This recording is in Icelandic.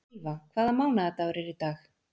Ylva, hvaða mánaðardagur er í dag?